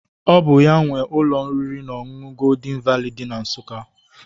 Ọ bụ ya nwe ụlọ oriri na ọṅụṅụ Goldin Vali dị na Nsụka.